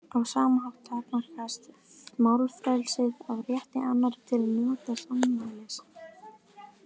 Á sama hátt takmarkast málfrelsið af rétti annarra til að njóta sannmælis.